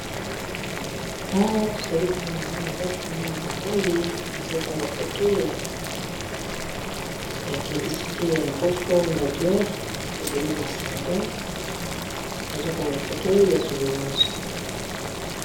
Awa tozali komona mwana mwasi na mwana mobale bazo kanga foto ya publicite ya Beau fort lageur ezali masanga bazo kanga foto ya souvenir.